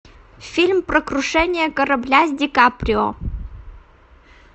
фильм про крушение корабля с ди каприо